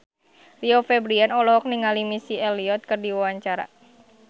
Rio Febrian olohok ningali Missy Elliott keur diwawancara